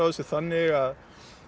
þessu þannig